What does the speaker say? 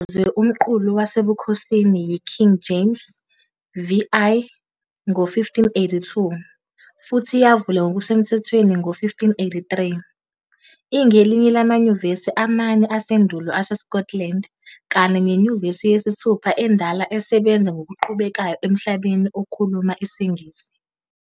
Inikezwe umqulu wasebukhosini yiKing James VI ngo-1582 futhi yavulwa ngokusemthethweni ngo-1583, ingelinye lamanyuvesi amane asendulo aseScotland kanye nenyuvesi yesithupha endala esebenza ngokuqhubekayo emhlabeni okhuluma isiNgisi.